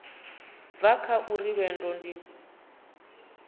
bva kha uri lwendo ndi